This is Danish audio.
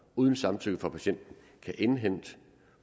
uden samtykke fra patienten kan indhente